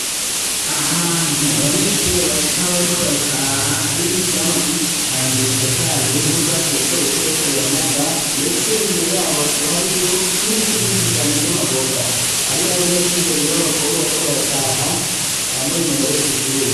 Ahantu abanyeshure baca bariko barataha hari ivyamwa vyinshi cane bitotahaye n'ubwatsi butobuto buriko buranaga ndetse imbere yabo hakaba hariyo n'ibiti vyinshi cane vy'amavoka hari abanyeshure babiri babakobwa bariko barataha bambaye imyambaro yo kw'ishure.